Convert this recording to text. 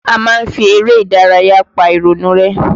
A máa ń fi eré ìdárayá pa ìrònú rẹ́